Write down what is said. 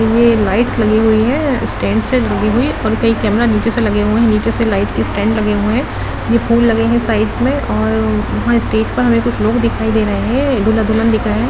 ये लाइट्स लगी हुई है स्टैंड्स है लगी हुई और कईं कैमरा नीचे से लगे हुए है नीचे से लाइट की स्टैंड लगे हुए है ये फूल लगे हुए है साइड में और वहां स्टेज पर हमें कुछ लोग दिखाई दे रहे हैं दूल्हा-दुल्हन दिख रहे है।